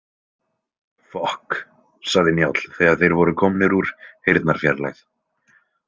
Fokk, sagði Njáll þegar þeir voru komnir úr heyrnarfjarlægð.